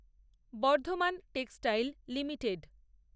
Bardhaman textile limited